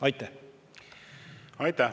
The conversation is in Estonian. Aitäh!